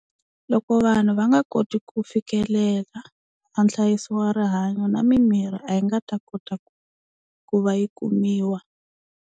Loko vanhu va nga koti ku fikelela a nhlayiso wa rihanyo na mimirhi a yi nga ta kota ku ku va yi kumiwa.